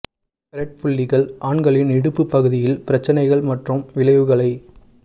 red புள்ளிகள் ஆண்களில் இடுப்பு பகுதியில் பிரச்சினைகள் மற்றும் விளைவுகளைக்